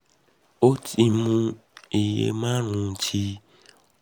ó ti ó ti mu iye márùn-ún ti oflox oz títí di báyìí